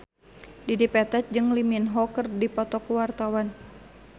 Dedi Petet jeung Lee Min Ho keur dipoto ku wartawan